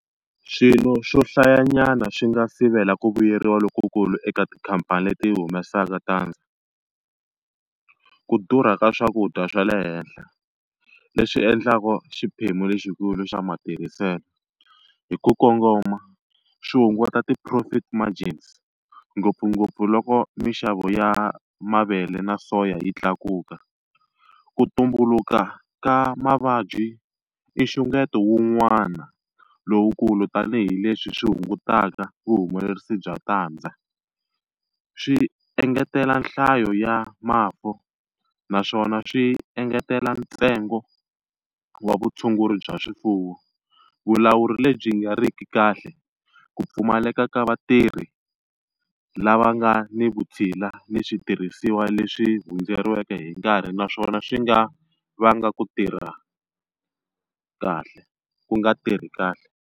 Xilo xo hlayanyana xi nga sivela ku vuyeriwa lokukulu eka tikhamphani leti humesaka tandza, ku durha ka swakudya swa le henhla, leswi endlaku xiphemu lexikulu xa matirhiselo. Hi ku kongoma xi hunguta ti-profit margins ngopfungopfu loko minxavo ya mavele na soya yi tlakuka. Ku tumbuluka ka mavabyi i nxungeto wun'wana lowukulu tanihileswi swi hungutaka vuhumelerisi bya tandza. Swi engetela nhlayo ya mafu naswona swi engetela ntsengo vutshunguri bya swifuwo. Vulawuri lebyi nga riki kahle, ku pfumaleka ka vatirhi lava nga ni vutshila ni switirhisiwa leswi hundzeriweke hi nkarhi, naswona swi nga vanga ku tirha kahle ku nga tirhi kahle.